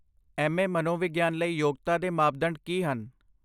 MA. ਮਨੋਵਿਗਿਆਨ ਲਈ ਯੋਗਤਾ ਦੇ ਮਾਪਦੰਡ ਕੀ ਹਨ?